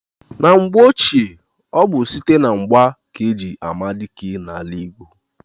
Na mgbe ochie, ọ bụ site na mgba ka eji ama dike n'ala Igbo.